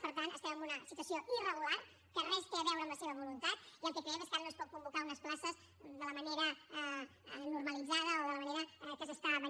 per tant estem en una situació irregular que res té a veure amb la seva voluntat i el que creiem és que ara no es poden convocar unes places de la manera normalitzada o de la manera com es feia